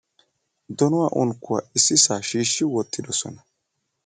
Donuwa unkkuwa issisaa shiishshi wottidosona.